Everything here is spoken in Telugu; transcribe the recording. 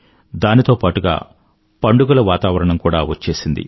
దానితో పాటుగా పండుగల వాతావరణం కూడా వచ్చేసింది